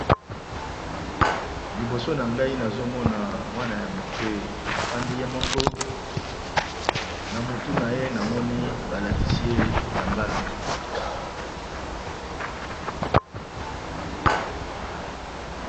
Liboso na nga nazo mona mwana ya moke, afandi ye moko na mutu na ye namoni ba latisi ye kitambala.